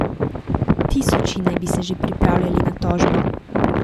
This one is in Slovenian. Tisoči naj bi se že pripravljali na tožbo.